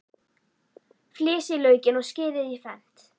Flysjið laukinn og skerið í fernt.